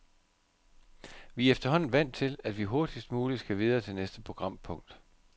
Vi er efterhånden vant til, at vi hurtigst muligt skal videre til næste programpunkt.